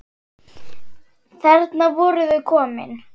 Þarna voru þau komin.